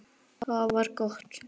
Það var gott